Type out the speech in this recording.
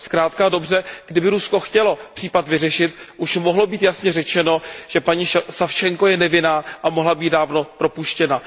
Zkrátka a dobře, kdyby Rusko chtělo případ vyřešit, už mohlo být jasně řečeno, že paní Savčenková je nevinná a mohla být dávno propuštěna.